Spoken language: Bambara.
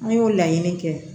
An y'o laɲini kɛ